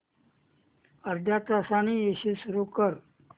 अर्ध्या तासाने एसी सुरू कर